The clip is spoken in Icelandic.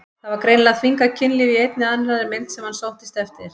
Það var greinilega þvingað kynlíf í einni eða annarri mynd sem hann sóttist eftir.